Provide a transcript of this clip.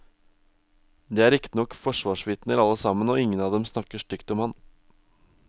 De er riktignok forsvarsvitner alle sammen, og ingen av dem snakker stygt om ham.